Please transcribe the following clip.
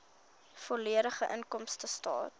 volledige inkomstestaat